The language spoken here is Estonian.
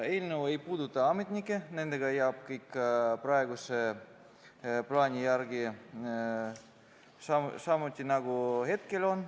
Eelnõu ei puuduta ametnikke, nendega jääb kõik praeguse plaani järgi nii, nagu hetkel on.